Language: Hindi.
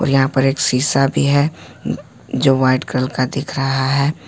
और यहां पर एक शीशा भी है जो वाइट कलर का दिख रहा है।